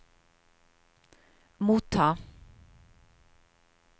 motta